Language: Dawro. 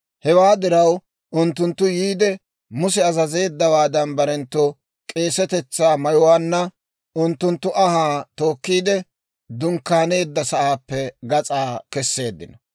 Hewaa diraw unttunttu yiide, Muse azazeeddawaadan, barenttu k'eesetetsaa mayuwaanna unttunttu anhaa tookkiide, dunkkaaneedda sa'aappe gas'a keseeddino.